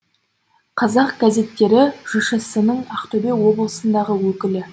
қазақ газеттері жшс інің ақтөбе облысындағы өкілі